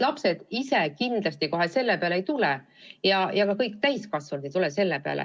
Lapsed ise kohe kindlasti selle peale ei tule, kõik täiskasvanudki ei tule selle peale.